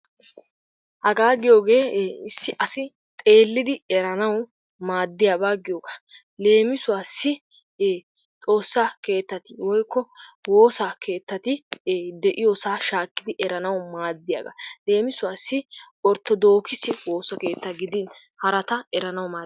Hagaa giyoogee ee issi asi xeelidi eranawu maadiyaba giyoogaa. Leemisuwassi xoossaa keettati woykko woosaa keettati de'iyosaa shaakidi eranawu maadiyaagaa. Leemisuwassi ortodookise woosa keetta gidin harata eranawu maaddees.